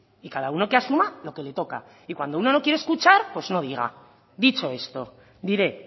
y cada uno que asuma lo que le toca y cuando uno no quiere escuchar pues no diga dicho esto diré